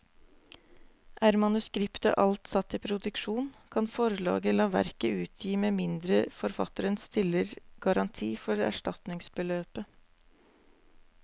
Er manuskriptet alt satt i produksjon, kan forlaget la verket utgi med mindre forfatteren stiller garanti for erstatningsbeløpet.